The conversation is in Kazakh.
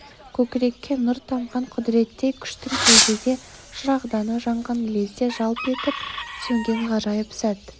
көкірекке нұр тамған құдіреттей күштің кеудеде шырағданы жанған лезде жалп етіп сөнген ғажайып сәт